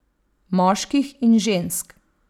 Moških in žensk.